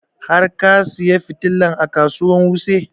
Har ka saya fitilan a kasuwan wuse?